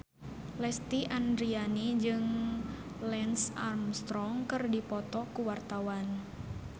Lesti Andryani jeung Lance Armstrong keur dipoto ku wartawan